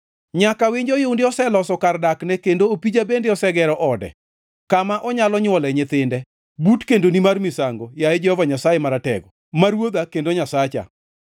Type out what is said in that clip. Nyaka winj oyundi oseloso kar dakne, kendo opija bende osegero ode, kama onyalo nywole nyithinde, but kendoni mar misango, yaye Jehova Nyasaye Maratego, ma Ruodha kendo Nyasacha.